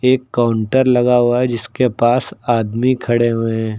एक काउंटर लगा हुआ है जिसके पास आदमी खड़े हुए हैं।